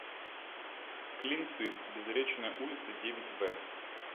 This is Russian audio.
клинцы безречная улица девять в